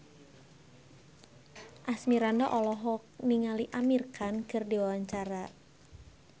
Asmirandah olohok ningali Amir Khan keur diwawancara